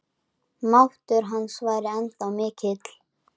Máttur hans væri ennþá mikill.